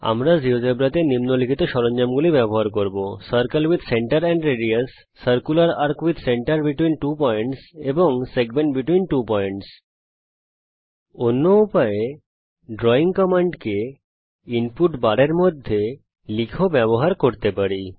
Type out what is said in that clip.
আমরা জীয়োজেব্রাতে নিম্নলিখিত সরঞ্জামগুলি ব্যবহার করব circle with centre and radius circular arc with centre between two points এবং সেগমেন্ট বেতভীন ত্ব পয়েন্টস অন্য উপায়েড্রয়িং কমান্ডকে ইনপুট বারের মধ্যে লিখেও ব্যবহার করতে পারি